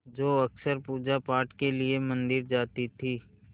जो अक्सर पूजापाठ के लिए मंदिर जाती थीं